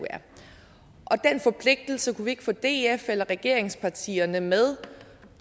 forpligtelse kunne vi ikke få df eller regeringspartierne med